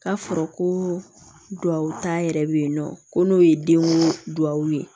K'a fɔra ko duwawuta yɛrɛ bɛ yen nɔ ko n'o ye denw duwawu ye